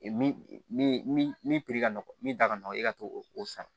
Min min min min ka nɔgɔ min da ka nɔgɔ i ka t'o o san